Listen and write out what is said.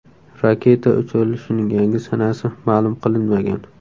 Raketa uchirilishining yangi sanasi ma’lum qilinmagan.